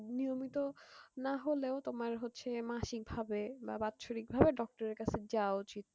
নিয়মিত নাহলেও তোমার হচ্ছে মাসিক ভাবে বা বাৎসরিক ভাবে doctor এর কাছে যাওয়া উচিত